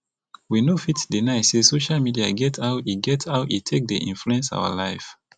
we no fit deny sey social media get how e get how e take dey influence our life